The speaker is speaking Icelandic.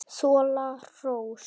Þola hrós.